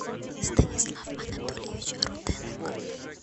станислав анатольевич руденок